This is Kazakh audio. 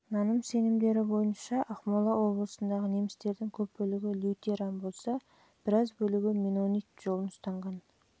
наным сенімдері бойынша ақмола облысындағы немістердің көп бөлігі лютеран болса біраз бөлігі меннонит жолын ұстанған